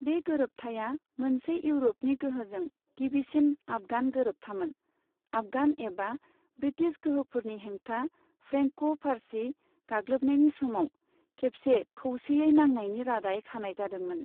बे गोरोबथाया, मोनसे इउरपनि गोहोजों गिबिसिन आफगान गोरोबथामोन, आफगान एबा ब्रिटिश गोहोफोरनि हेंथा फ्रेंक' फारसी गाग्लोबनायनि समाव खेबसे खौसेयै नांनायनि रादाय खानाय जादोंमोन।